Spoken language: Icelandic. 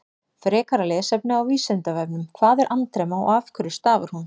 Frekara lesefni á Vísindavefnum: Hvað er andremma og af hverju stafar hún?